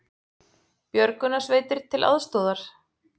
Björgunarsveitir til aðstoðar